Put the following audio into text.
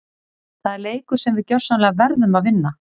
Það er leikur sem við gjörsamlega verðum að vinna!